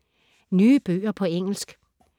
Nye bøger på engelsk